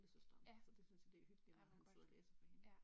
Ja. Ej hvor godt ja